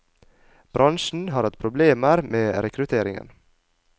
Bransjen har hatt problemer med rekrutteringen.